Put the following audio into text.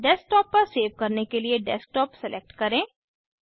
desktop पर save करने के लिए डेस्कटॉप सेलेक्ट करें